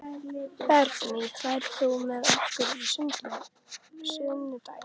Bergný, ferð þú með okkur á sunnudaginn?